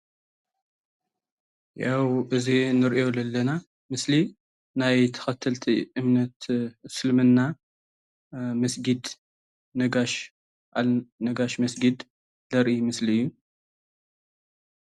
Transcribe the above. ያው እዚ እንሪኦ ለለና ምስሊ ናይ ተከተልቲ እምነት እስልምና መስጊድ ነጋሽ ነጋሽ መስጊድ ዘርኢ ምስሊ እዩ፡፡